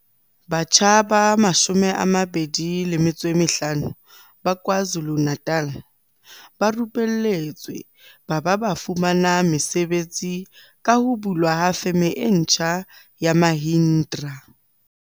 Batjha ba 25 ba KwaZu lu-Natal ba rupelletswe ba ba ba fumana mesebetsi ka ho bulwa ha Feme e ntjha ya Mahindra.